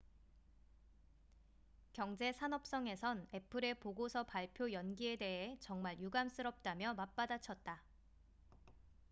"경제산업성에선 애플의 보고서 발표 연기에 대해 "정말 유감스럽다""며 맞받아쳤다.